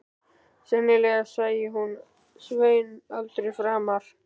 Sennilega sæi hún Svein aldrei framar.